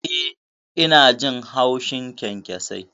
Eh, ina jin haushin kyankyasai.